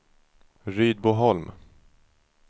Rydboholm